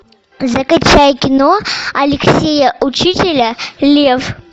закачай кино алексея учителя лев